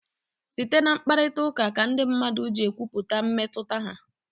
Site na mkparịta ụka ka ndị mmadụ ji ekwupụta mmetụta ha.